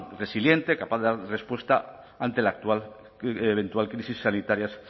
resiliente capaz de dar respuesta ante la eventual crisis sanitarias